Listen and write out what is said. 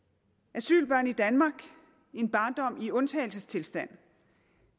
asylbørn i danmark en barndom i undtagelsestilstand